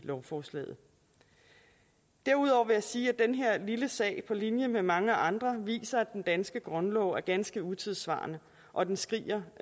lovforslaget derudover vil jeg sige at den her lille sag på linje med mange andre viser at den danske grundlov er ganske utidssvarende og at den skriger